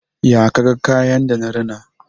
Ya ka ga kayan da na rina?